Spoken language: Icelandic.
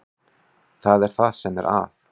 Það er það sem er að.